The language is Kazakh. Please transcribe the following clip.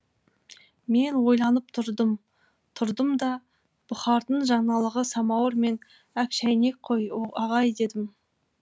мен ойланып тұрдым тұрдым да бұхардың жаңалығы самауыр мен әк шәйнек қой ағай дедім